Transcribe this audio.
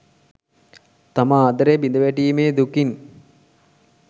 තම ආදරය බිඳ වැටීමේ දුකින්